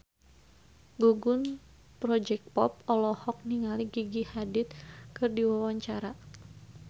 Gugum Project Pop olohok ningali Gigi Hadid keur diwawancara